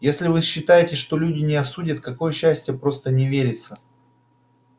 если вы считаете что люди не осудят какое счастье просто не верится